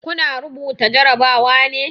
Kuna rubuta jarabawa ne?